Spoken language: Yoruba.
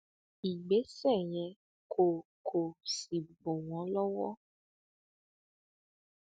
ìgbésẹ yẹn kò kò sì bù wọn lọwọ